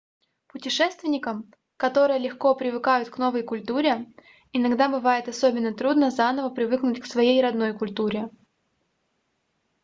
путешественникам которые легко привыкают к новой культуре иногда бывает особенно трудно заново привыкнуть к своей родной культуре